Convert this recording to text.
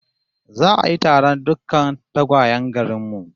Za'a yi taron dukkan tagwayen garin mu